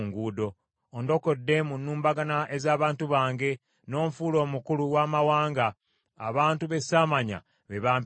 “Ondokodde mu nnumbagana ez’abantu bange, n’onfuula omukulu w’amawanga; abantu be saamanya be bampeereza.